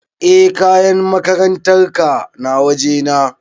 E kayan makarantar ka na waje na